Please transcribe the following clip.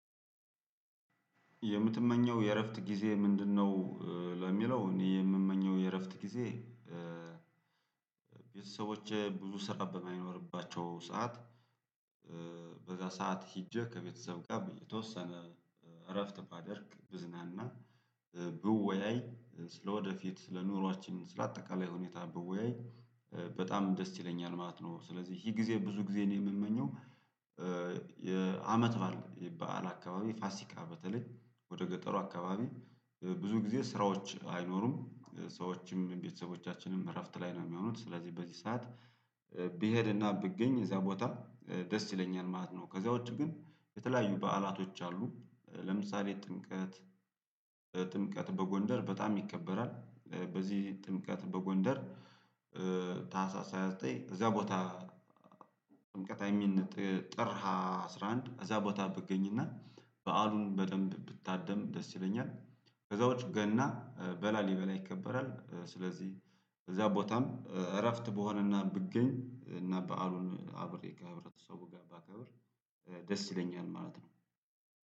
የምትመኘው የእረፍት ጊዜ ምንድነው? ለሚለው እኔ የምመኘው የእረፍት ጊዜ ቤተሰቦቼ ብዙ ስራ በማይኖርባቸው ሰዓት በዛ ሰዓት ሄጄ ከቤተሰብ ጋር የተወሰነ እረፍት ባደርግ ብዝናና ብወያይ ስለወደፊት ስለኑሮአችን ስለአጠቃላይ ሁኔታ ብወያይ በጣም ደስ ይለኛል ማለት ነው ስለዚህ ይሄ ጊዜ ብዙ ጊዜ ነው የምመኘው። የአመት ባል በዓል አካባቢ ፋሲካ በተለይ ወደ ገጠሩ አካባቢ ብዙ ጊዜ ስራዎች አይኖሩም ሰዎችም ቤተሰቦቻችንም እረፍት ላይ ነው የሚሆኑት ስለዚህ በዚህ ሰዓት ብሄድና ብገኝ እዛ ቦታ ደስ ይለኛል ማለት ነው። ከዚያ ውስጥ ግን የተለያዩ በዓላቶች አሉ ለምሳሌ ጥምቀት ጥምቀት በጎንደር በጣም ይከበራል። በዚህ ጥምቀት በጎንደር ታህሳስ ሃያ ዘጠኝ እዛ ቦታ። ጥር አስራ አንድ እዛ ቦታ ብገኝና በዓሉን በደንብ ብታደም ደስ ይለኛል። ከዛው ገና በላሊበላ ይከበራል። ስለዚህ እዛ ቦታም እረፍት ብሆንና ብገኝ እና በዓሉን አብሬ ከህብረተሰቡ ጋር ባከብር ደስ ይለኛል ማለት ነው።